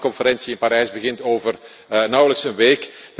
De klimaatconferentie in Parijs begint over nauwelijks een week.